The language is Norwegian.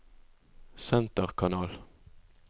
senterkanal